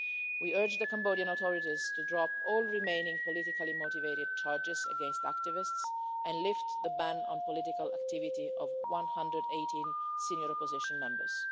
We urge the Cambodian authorities to drop all remaining politically motivated charges against activists and lift the ban on the political activity of 118 senior opposition members.